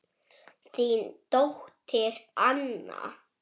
Þín dóttir Anna.